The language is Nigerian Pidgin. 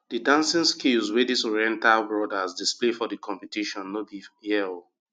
the dancing skills wey dis oriental brothers display for di competition no be here o